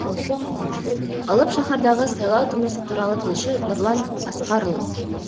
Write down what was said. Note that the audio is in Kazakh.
алып шаһардағы сайлау тынысы туралы тілші нұрлан асқарұлы